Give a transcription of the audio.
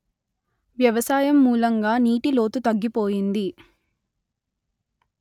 వ్యవసాయం మూలంగా నీటి లోతు తగ్గిపోయింది